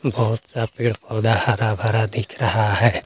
बहुत सा पेड़ पूरा हरा भरा दिख रहा है।